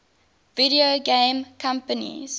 video game companies